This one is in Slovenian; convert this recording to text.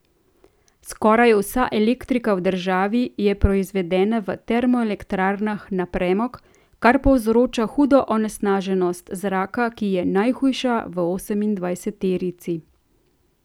Skoraj vsa elektrika v državi je proizvedena v termoelektrarnah na premog, kar povzroča hudo onesnaženost zraka, ki je najhujša v osemindvajseterici.